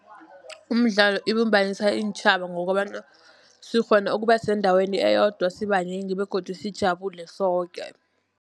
Umdlalo ibumbanisa iintjhaba, ngokobana sikghona ukuba sendaweni eyodwa sibanengi begodu sijabule soke.